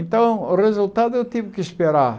Então, o resultado eu tive que esperar.